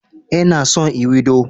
Eh, nna son ewedu.